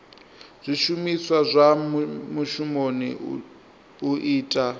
zwishumiswa zwa mushumoni u ita